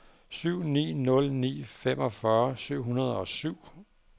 syv ni nul ni femogfyrre syv hundrede og syv